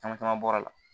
Caman caman bɔra la